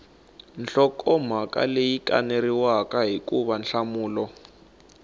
nhlokomhaka leyi kaneriwaka hikuva nhlamulo